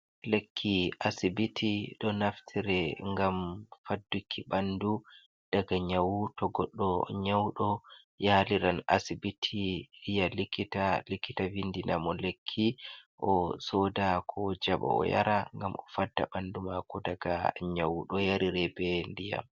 Lekki asibiti, ɗo naftire ngam fadduki ɓandu daga nyawu, to goɗɗo nyauɗo yaliran asibiti yiya likita, likkita vindina mo lekki o sooda ko jaɓa, o yara ngam o fadda ɓandu maako daga nyawu, ɗo yarire be ndiyam.